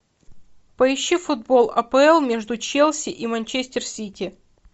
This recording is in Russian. поищи футбол апл между челси и манчестер сити